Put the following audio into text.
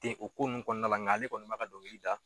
o ko ninnu kɔnɔna la nka ale kɔni b'a ka dɔnkili da